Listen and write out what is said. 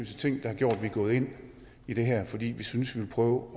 ting der har gjort at vi er gået ind i det her fordi vi synes vi vil prøve